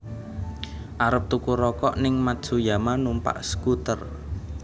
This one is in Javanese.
Arep tuku rokok ning Matsuyama numpak skuter